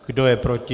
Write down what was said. Kdo je proti?